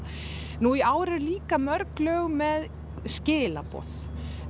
nú í ár eru líka mörg lög með skilaboð